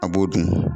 A b'o dun